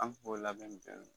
An bɛ k'o labɛn